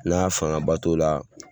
Nka fangaba t'o la.